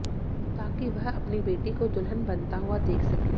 ताकि वह अपनी बेटी को दुल्हन बनता हुआ देख सकें